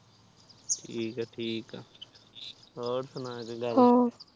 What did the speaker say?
ਥਿਕਥਿਕ ਆ ਹੋਰ ਸੁਣਾ ਕੋਈ ਗੱਲ ਬਾਤ